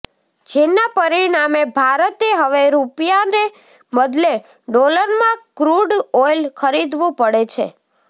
જેના પરિણામે ભારતે હવે રૂપિયાને બદલે ડોલરમાં ક્રુડ ઓઈલ ખરીદવું પડે છે